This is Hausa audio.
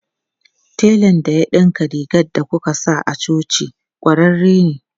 Telan da ya dinka rigar da kuka sa a coci kwararre ne.